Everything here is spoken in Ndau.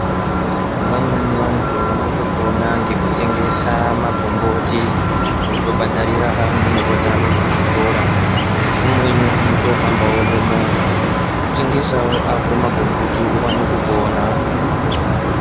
Vamweni vantu vanotopona ngekutengesa magomboti votobhadharira ndumurwa dzawo kuzvikora umweni unotohambawo ngemovha tengesawo ako magomboti uwane kupona.